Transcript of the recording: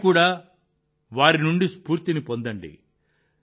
మీరు కూడా వారి నుండి స్ఫూర్తి పొందండి